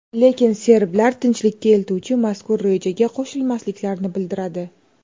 Lekin serblar tinchlikka eltuvchi mazkur rejaga qo‘shilmasliklarini bildiradi.